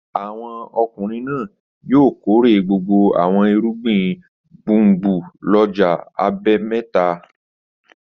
Àwọn ọkùnrin náà yóò kórè gbogbo àwọn irúgbìn gbùngbùn lọ́jọ́ àbámẹ́ta.